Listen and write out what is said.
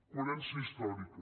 coherència històrica